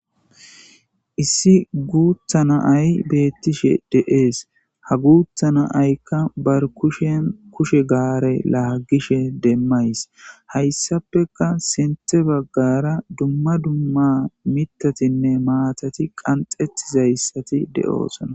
Issi guuthana ay beettishe de7ees ha guuthana aykka bar kushen kushe gaare laagishe demmays hayssapeka sinthe baggara dumma dumma mitatinne maatati qanxetizayssati de7oosona